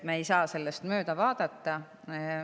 Me ei saa sellest mööda vaadata.